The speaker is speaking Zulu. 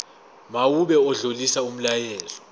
mawube odlulisa umyalezo